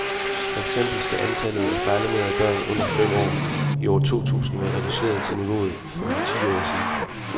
For eksempel skal antallet af fejlernærede børn under fem år i år to tusind være reduceret til niveauet for for ti år siden.